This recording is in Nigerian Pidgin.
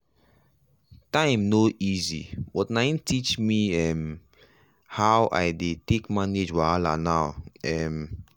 time no easy but na him teach um me how i dey take manage wahala now. um